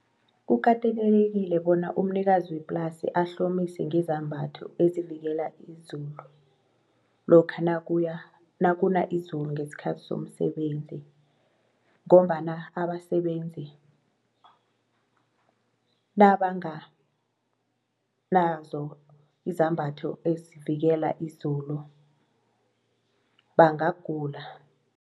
Kukatelelekile bona umnikazi weplasi ahlomise ngezambatho ezivikela izulu lokha nakuna izulu ngesikhathi somsebenzi ngombana abasebenzi nabanganazo izambatho ezivikela izulu bangagula.